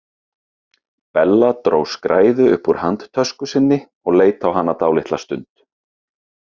Bella dró skræðu upp úr handtösku sinni og leit á hana dálitla stund.